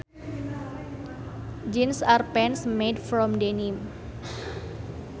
Jeans are pants made from denim